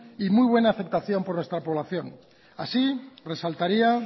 y muy buena aceptación por nuestra población así resaltaría